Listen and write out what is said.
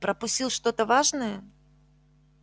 пропустил что-то важное